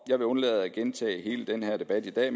jeg vil undlade at gentage hele den her debat i dag